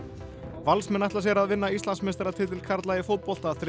Valsmenn ætla sér að vinna Íslandsmeistaratitil karla í fótbolta þriðja